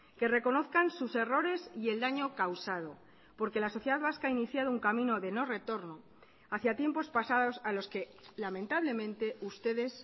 que reconozcan sus errores y el daño causado porque la sociedad vasca ha iniciado un camino de no retorno hacia tiempos pasados a los que lamentablemente ustedes